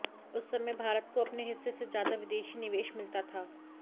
उस समय भारत को अपने हिस्से से ज्यादा विदेशी निवेश मिलता था